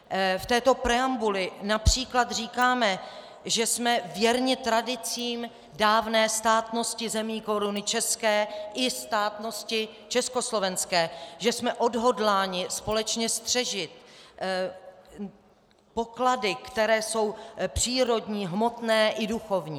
V této preambuli například říkáme, že jsme věrni tradicím dávné státnosti zemí Koruny české i státnosti československé, že jsme odhodláni společně střežit poklady, které jsou přírodní, hmotné i duchovní.